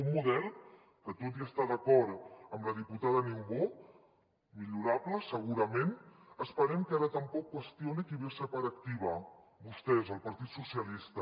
un model que tot i estar d’acord amb la diputada niubó millorable segurament esperem que ara tampoc qüestioni qui va ser part activa vostès el partit socialista